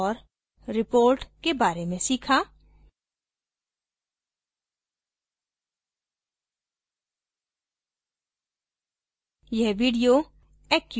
report के बारे में सीखा